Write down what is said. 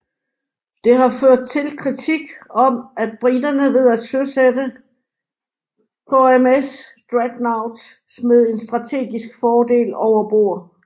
Det har ført til kritik om at briterne ved at søsætte HMS Dreadnought smed en strategisk fordel over bord